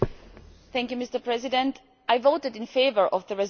Mr President, I voted in favour of the resolution.